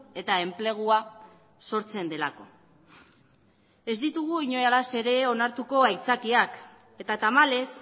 eta enplegua sortzen delako ez ditugu inolaz ere onartuko aitzakiak eta tamalez